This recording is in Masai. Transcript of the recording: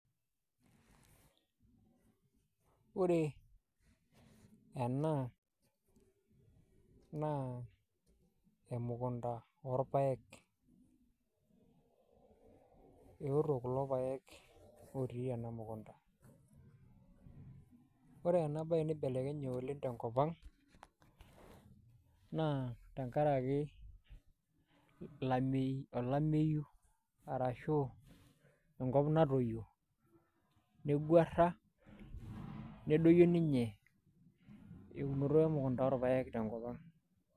Ore ena naa elmukonda o elmpaek. Keotoo kuloo mpaek otii kulo ana mukonda. Ore ena baye eipelekenye oleng te nkopang naa tang'araki laamei olaameyuu arasho onkop natoyoo neing'uara nedoonyo ninye eunoto elmukonda o lmpaek to nkopang.